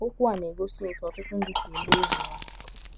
OKWU a na - egosi otú ọtụtụ ndị si ele ịgha ụgha